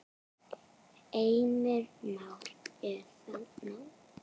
Heimir Már: Er það nóg?